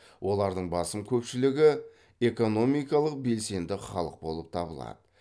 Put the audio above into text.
олардың басым көпшілігі экономикалық белсенді халық болып табылады